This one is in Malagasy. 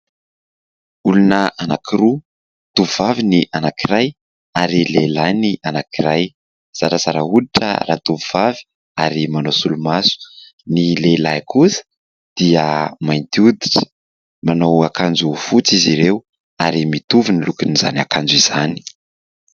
Olona anankiroa tovovavy ny anankiray ary lehilahy ny anankiray. Zarazara hoditra ra-tovovavy ary manao solomaso. Ny lehilahy kosa dia mainty hoditra. Manao akanjo fotsy izy ireo ary mitovy ny lokon'izany akanjo izany.